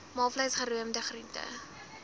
maalvleis geroomde groente